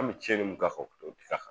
An' bɛ tiɲɛni mun k'a kan t'o k'a kan